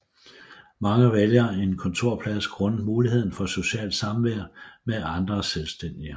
Mange vælger en kontorplads grundet muligheden for socialt samvær med andre selvstændige